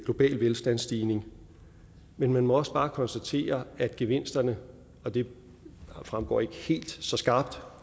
global velstandsstigning men man må også bare konstatere at gevinsterne og det fremgår ikke helt så skarpt